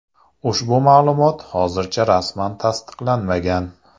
Ushbu ma’lumot hozircha rasman tasdiqlanmagan.